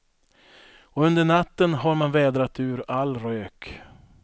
Och under natten har man vädrat ur all rök.